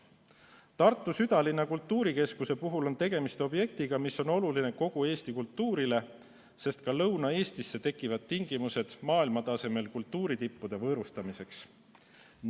Tartu südalinna kultuurikeskus on objekt, mis on oluline kogu Eesti kultuurile, sest ka Lõuna-Eestisse tekivad siis tingimused maailmatasemel kultuuritippude võõrustamiseks.